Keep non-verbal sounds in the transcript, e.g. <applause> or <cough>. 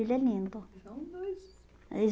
Ele é lindo. <unintelligible>